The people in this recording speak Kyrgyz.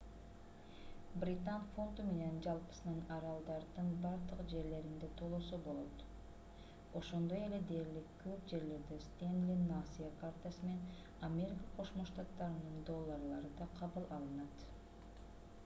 британ фунту менен жалпысынан аралдардын бардык жерлеринде төлөсө болот ошондой эле дээрлик көп жерлерде стэнли насыя картасы менен америка кошмо штаттарынын долларлары да кабыл алынат